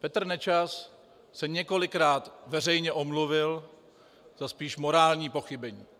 Petr Nečas se několikrát veřejně omluvil za spíš morální pochybení.